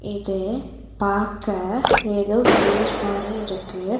இது பாக்க ஏதோ வில்லேஜ் மாரி இருக்கு.